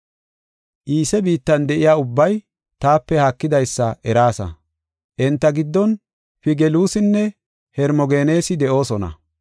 Iise biittan de7iya ubbay taape haakidaysa eraasa; enta giddon Figeluusinne Hermogeneesi de7oosona.